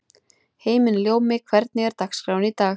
Himinljómi, hvernig er dagskráin í dag?